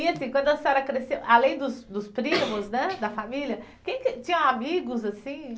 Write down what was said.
E assim, quando a senhora cresceu, além dos dos primos, né, da família, quem que, tinha amigos assim?